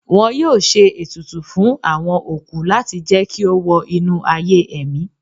wọn yóò ṣe etùtù fún awọn okú lati jẹ ki o wọ inu aye ẹmí